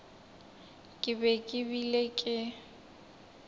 ke be ke bile ke